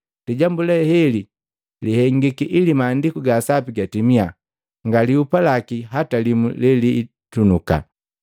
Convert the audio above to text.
Lijambu le heli lihengiki ili Maandiku ga Sapi gatimia, “Nga lihupa laki hata limu leliitunuka.”